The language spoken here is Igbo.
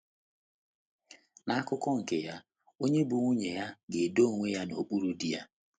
N’akụkụ nke ya, onye bụ́ nwunye ga - edo onwe ya n’okpuru di ya.